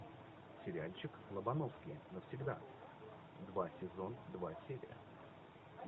сериальчик лобановский навсегда два сезон два серия